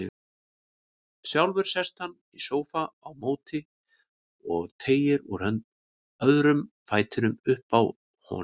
Sjálfur sest hann í sófa á móti og teygir úr öðrum fætinum uppi á honum.